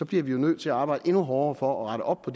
bliver vi jo nødt til at arbejde endnu hårdere for at rette op på